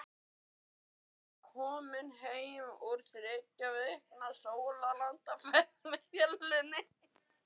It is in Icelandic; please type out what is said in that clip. Hann var nýkominn heim úr þriggja vikna sólarlandaferð með fjölskyldunni.